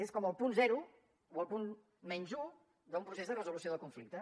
és com el punt zero o el punt menys un d’un procés de resolució del conflicte